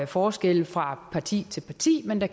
forskelle fra parti til parti men at